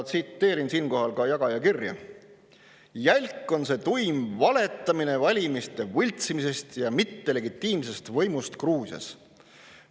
Tsiteerin siinkohal ka jagaja kirja: "Jälk on see tuim valetamine valimiste võltsimisest ja mittelegitiimsest võimust Gruusias.